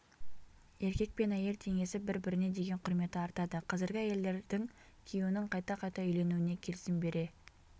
еркек пен әйел теңесіп бір-біріне деген құрметі артады қазіргі әйелдердің күйеуінің қайта-қайта үйленуіне келісім бере